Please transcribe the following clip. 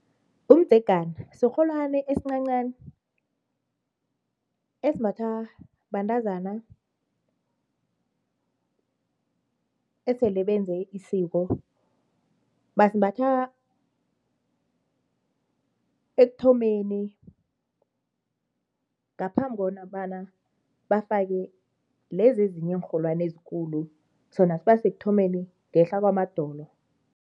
Umdzegana sirholwani esincancani esimbathwa bentazana esele benze isiko, basimbatha ekuthomeni ngaphambi kobana bafake lezi ezinye iinrholwani ezikulu sona sibasekuthomeni ngehla kwamadolo.